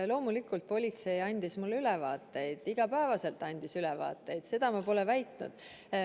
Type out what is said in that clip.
Loomulikult politsei andis mulle ülevaateid, igapäevaselt andis ülevaateid, nii et seda ma pole väitnud.